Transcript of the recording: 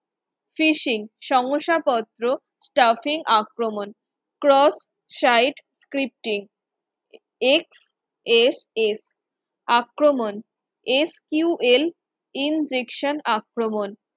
fishing শংসাপত্র traffic আক্রমণ cross site scripting XXF আক্রমণ sql injection আক্রমণ